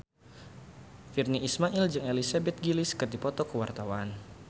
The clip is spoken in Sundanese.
Virnie Ismail jeung Elizabeth Gillies keur dipoto ku wartawan